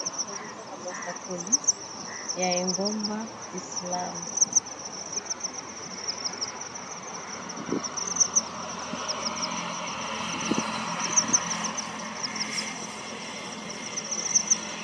Awa azomona mosakoli ya engomba islam